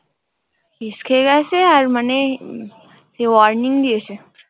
Case খেয়ে গেছে। আর মানে উম সেই warning দিয়েছে।